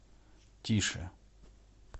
тише